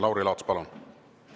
Lauri Laats, palun!